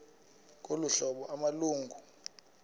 ngolu hlobo amalungu